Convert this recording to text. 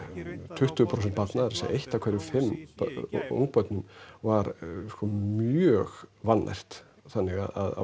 tuttugu prósent barna að segja eitt af hverjum fimm ungbörnum var mjög vannært þannig að